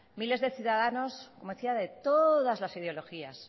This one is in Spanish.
miles de ciudadano como decía de todas las ideologías